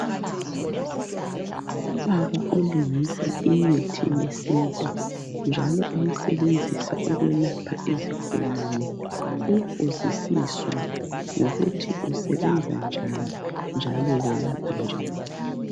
Ubaba olungisa imithi yesintu njalo eyisebenzisa ukwelapha izigulane uyabuzisiswa ngokuthi usebenza njani njalo welapha njani.